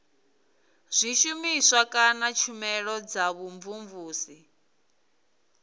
zwishumiswa kana tshumelo dza vhumvumvusi